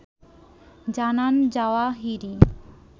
জানান জাওয়াহিরি